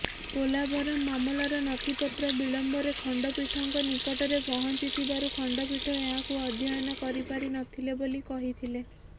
ପୋଲାଭରମ୍ ମାମଲାର ନଥିପତ୍ର ବିଳମ୍ବରେ ଖଣ୍ଡପୀଠଙ୍କ ନିକଟରେ ପହଞ୍ଚିଥିବାରୁ ଖଣ୍ଡପୀଠ ଏହାକୁ ଅଧ୍ୟୟନ କରିପାରିନଥିଲେ ବୋଲି କହିଥିଲେ